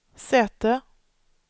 säte